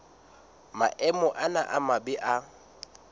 maemo ana a mabe a